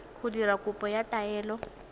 go dira kopo ya taelo